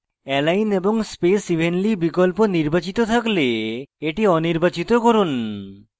align এবং space evenly বিকল্প নির্বাচিত থাকলে এটি অনির্বাচিত করুন